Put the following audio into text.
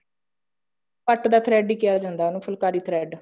ਪੱਟ ਦਾ thread ਕਿਹਾ ਜਾਂਦਾ ਉਹਨੂੰ ਫੁਲਕਾਰੀ thread